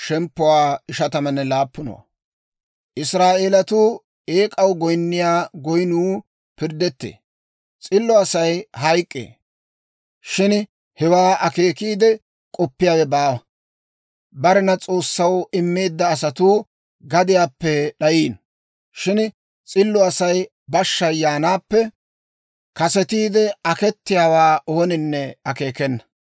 S'illo Asay hayk'k'ee; shin hewaa akeekiide k'oppiyaawe baawa. Barena S'oossaw immeedda asatuu gadiyaappe d'ayiino; shin s'illo Asay bashshay yaanaappe kasetiide akettiyaawaa ooninne akeekena.